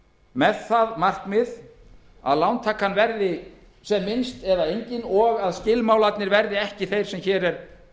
með það markmið að lántakan verði sem minnst eða engin og að skilmálarnir verði ekki þeir sem hér er